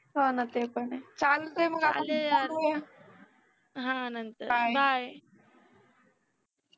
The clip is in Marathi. हो ना ते पण आहे चालतय मग bye